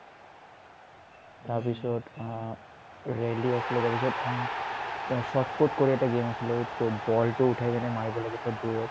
তাৰপিছত আ ৰেইলি আছিলে তাৰপিছত অ চত্ফুত কৰি এটা আছিলে to ball টো উঠাই কিনে মাৰিব লাগে তে দূৰত